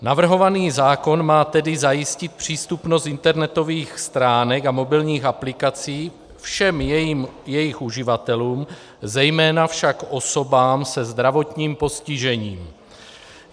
Navrhovaný zákon má tedy zajistit přístupnost internetových stránek a mobilních aplikací všem jejich uživatelům, zejména však osobám se zdravotním postižením.